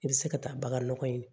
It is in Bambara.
I bɛ se ka taa bagan nɔgɔ in